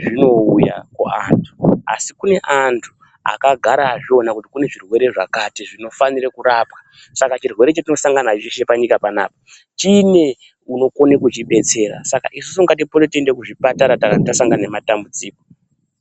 zvinouya kuantu asi kune antu akagara azviona kuti kune zvirwere zvakati zvinofanire kurapwa saka chirwere chatinosangana nacho chepanyika panapa chine unokone kuchibetsera saka isusu ngatipote teienda kuzvipatara tasangana nematambudziko.